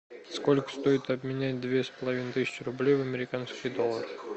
сколько стоит обменять две с половиной тысячи рублей в американский доллар